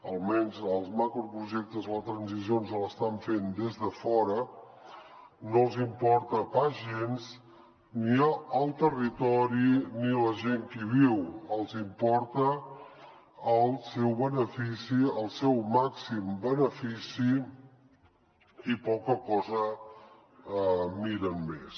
almenys els macroprojectes la transició ens l’estan fent des de fora no els importa pas gens ni el territori ni la gent que hi viu els importa el seu benefici el seu màxim benefici i poca cosa miren més